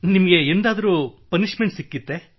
ನಿಮಗೆ ಎಂದಾದರೂ ಪನಿಶ್ಮೆಂಟ್ ಸಿಕ್ಕಿತ್ತೇ